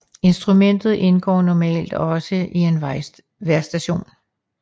Instrumentet indgår normalt også i en vejrstation